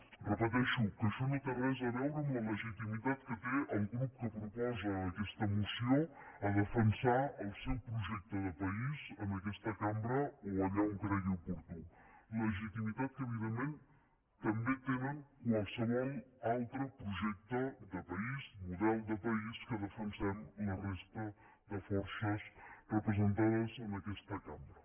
ho repeteixo que això no té res a veure amb la legitimitat que té el grup que proposa aquesta moció a defensar el seu projecte de país en aquesta cambra o allà on cregui oportú legitimitat que evidentment també té qualsevol altre projecte de país de model de país que defensem la resta de forces representades en aquesta cambra